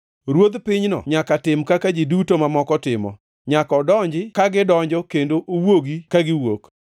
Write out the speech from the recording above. Ruodh pinyno nyaka tim kaka ji duto mamoko timo; nyaka odonji ka gidonjo kendo owuogi kagiwuok.